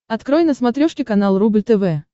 открой на смотрешке канал рубль тв